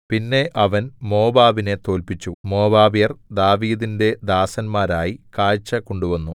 പിന്നെ അവൻ മോവാബിനെ തോല്പിച്ചു മോവാബ്യർ ദാവീദിന്റെ ദാസന്മാരായി കാഴ്ച കൊണ്ടുവന്നു